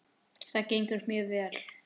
Það gengur mjög vel.